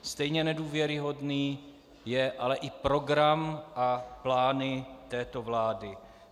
Stejně nedůvěryhodný je ale i program a plány této vlády.